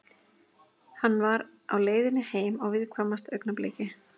Hann var á leiðinni heim á viðkvæmasta augnabliki.